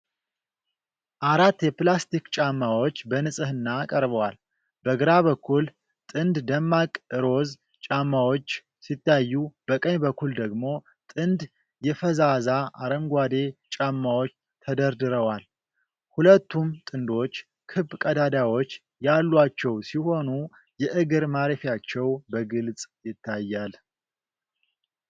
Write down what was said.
አራት የፕላስቲክ ጫማዎች በንጽሕና ቀርበዋል። በግራ በኩል ጥንድ ደማቅ ሮዝ ጫማዎች ሲታዩ፤ በቀኝ በኩል ደግሞ ጥንድ የፈዛዛ አረንጓዴ ጫማዎች ተደርድረዋል። ሁለቱም ጥንዶች ክብ ቀዳዳዎች ያሏቸው ሲሆኑ፤ የእግር ማረፊያቸው በግልጽ ይታያል።